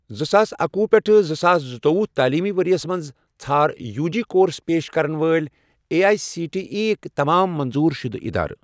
زٕساس اکوُہ پیٹھ زٕساس زٕتووُہ تعلیٖمی ؤرۍ یَس مَنٛز ژھار یوٗ جی کورس پیش کرن وٲلۍ A I C T E یٕک تمام منظور شُدٕ اِدارٕ۔